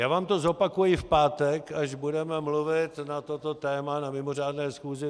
Já vám to zopakuji v pátek, až budeme mluvit na toto téma na mimořádné schůzi.